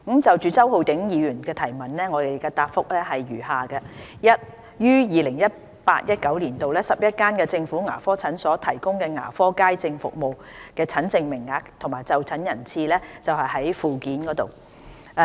就周浩鼎議員的質詢，現答覆如下：一於 2018-2019 年度 ，11 間政府牙科診所提供的牙科街症服務診症名額及就診人次載於附件。